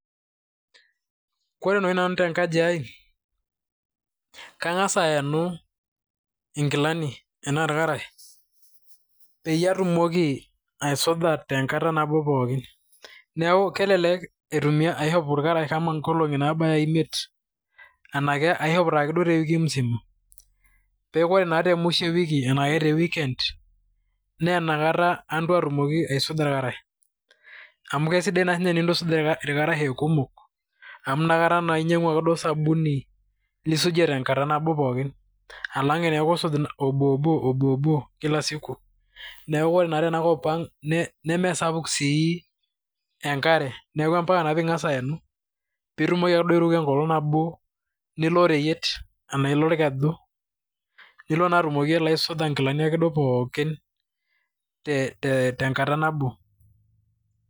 Kore naa oshi nanu te nkaji ai kangas aenu inkilani enaa irkarash peyie atumoki aisuj a tenkata nabo pookin. Neeku kelelek aishop irakarash kama nkolong'i nabaya imiet anake aishop taakeduo te wiki musima pee kore naa te mwisho e wiki anashe te weekend naa inakata atumoki aisuja irkarash, amu kesidai naa ake enintutum nintu aisuj irkarash e kumok amu inakata naa inyang'u akeduo osabuni nisujie tenkata nabo pookin alang' eneeku isuj obobo obobo kila siku. Neeku kore naa tenakop ang' nemesapuk sii enkare neeku mpaka naa ping'asa aenu piitumoki akeduo airuko enkolong' nabo nilo oreyiet anaye ilo orkeju nilo naa atumoki akeduo aisuja nkilani pookin te tenkata nabo.